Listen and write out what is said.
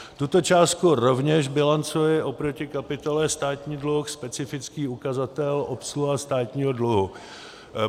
Tuto částku rovněž bilancuji oproti kapitole Státní dluh, specifický ukazatel obsluha státního dluhu.